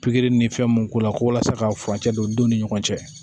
Pikiri ni fɛn mun k'u la ko walasa ka furancɛ don u denw ni ɲɔgɔn cɛ